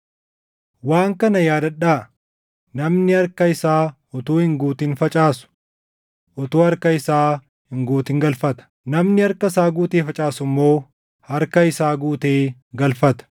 Waan kana yaadadhaa: Namni harka isaa utuu hin guutin facaasu utuu harka isaa hin guutin galfata; namni harka isaa guutee facaasu immoo harka isaa guutee galfata.